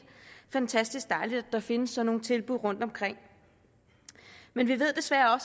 fantastisk dejligt at der findes sådan nogle tilbud rundtomkring men vi ved desværre